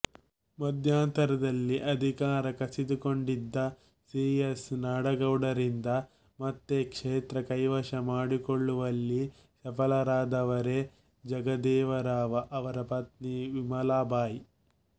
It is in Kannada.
ಮಧ್ಯಂತರದಲ್ಲಿ ಅಧಿಕಾರ ಕಸಿದುಕೊಂಡಿದ್ದ ಸಿ ಎಸ್ ನಾಡಗೌಡರಿಂದ ಮತ್ತೆ ಕ್ಷೇತ್ರ ಕೈವಶ ಮಾಡಿಕೊಳ್ಳುವಲ್ಲಿ ಸಫಲರಾದವರೇ ಜಗದೇವರಾವ ಅವರ ಪತ್ನಿ ವಿಮಲಾಬಾಯಿ